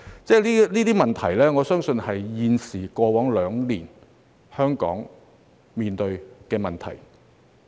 這些問題，我相信正是過去兩年香港面對的問題。